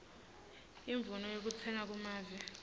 imvumo yekutsenga kumave